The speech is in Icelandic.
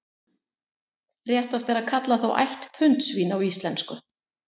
Réttast er að kalla þá ætt puntsvín á íslensku.